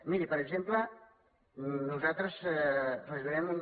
miri per exemple nosaltres reduirem un